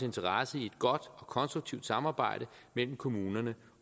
interesse i et godt og konstruktivt samarbejde mellem kommunerne